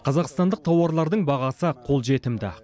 қазақстандық тауарлардың бағасы қолжетімді